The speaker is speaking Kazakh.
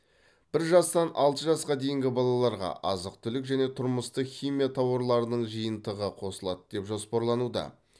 бір жастан алты жасқа дейінгі балаларға азық түлік және тұрмыстық химия тауарларының жиынтықтары қосылады деп жоспарлануда